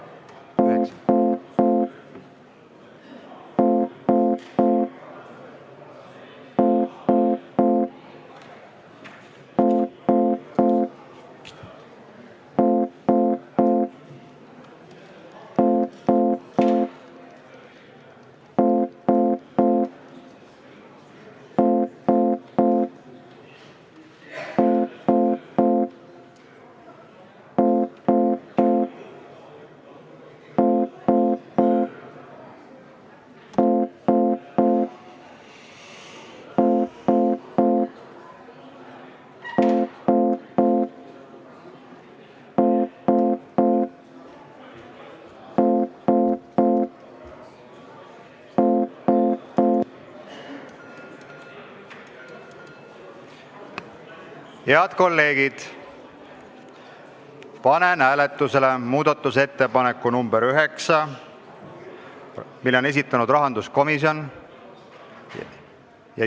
Head kolleegid, panen hääletusele muudatusettepaneku nr 9, mille on esitanud rahanduskomisjon.